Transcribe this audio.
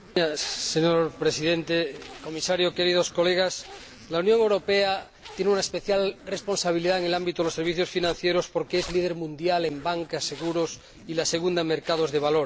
Señor Presidente, Comisario, queridos colegas, la Unión Europea tiene una especial responsabilidad en el ámbito de los servicios financieros, porque es líder mundial en banca y seguros y la segunda en mercados de valores.